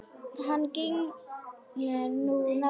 Hann gegnir nú nafninu Glenn.